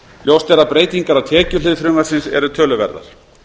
ljóst er að breytingar á tekjuhlið frumvarpsins eru töluverðar